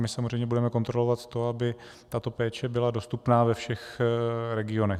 My samozřejmě budeme kontrolovat to, aby tato péče byla dostupná ve všech regionech.